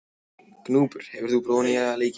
Gnúpur, hefur þú prófað nýja leikinn?